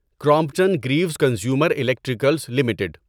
Crompton Greaves Consumer Electricals limited